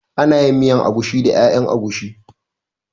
Ana yin miyan agushi da ƴaƴan agushi